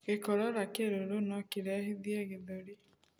Gikorora kiruru nokirehithie gĩthũri